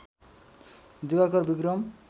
Diwakar Vikram